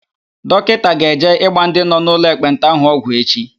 Dọkịta ga-eje ịgba ndị nọ n'ụlọ ekpenta ahụ ọgwụ echi.